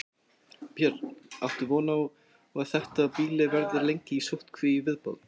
Björn: Áttu von á að þetta býli verði lengi í sóttkví í viðbót?